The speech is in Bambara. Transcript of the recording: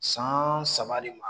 San saba de ma